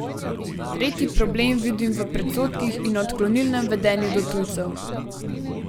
Tretji problem vidim v predsodkih in odklonilnem vedenju do tujcev.